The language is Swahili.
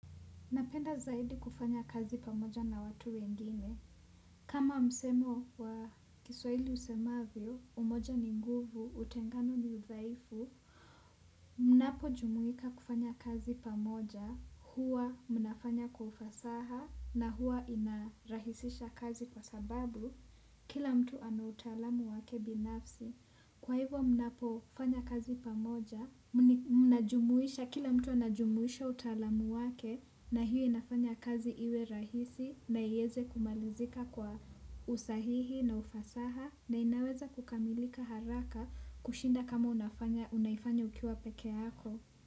Napenda zaidi kufanya kazi pamoja na watu wengine. Kama msemo wa kiswahili usemavyo, umoja ni nguvu, utengano ni udhaifu. Mnapojumuika kufanya kazi pamoja, huwa mnafanya kwa ufasaha na huwa inarahisisha kazi kwa sababu kila mtu ana utaalamu wake binafsi. Kwa hivyo mnapofanya kazi pamoja, mnajumuisha kila mtu anajumuisha utaalamu wake na hiyo inafanya kazi iwe rahisi na ieze kumalizika kwa usahihi na ufasaha na inaweza kukamilika haraka kushinda kama unaifanya ukiwa peke yako.